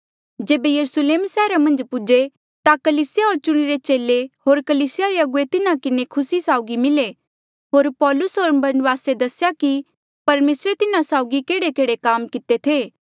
जेबे यरुस्लेम सैहरा मन्झ पौहुंचे ता कलीसिया होर चुणिरे चेले होर कलीसिया रे अगुवे तिन्हा किन्हें खुसी साउगी मिले होर पाैलुस होर बरनबासे दसेया कि परमेसरे तिन्हा साउगी केहड़ेकेहड़े काम किते थे